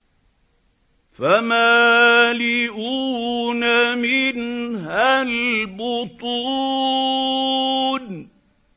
فَمَالِئُونَ مِنْهَا الْبُطُونَ